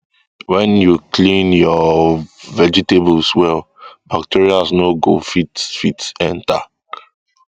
when you clean your um vegetables well bacteria no go fit fit enter